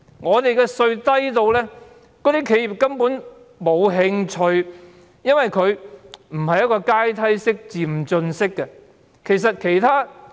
我們的利得稅率低至企業根本沒有興趣這樣做，因為稅率不是階梯式、漸進式的。